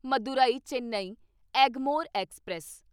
Madurai Chennai Egmore express